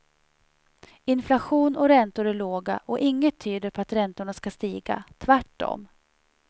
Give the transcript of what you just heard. Inflation och räntor är låga och inget tyder på att räntorna ska stiga, tvärtom.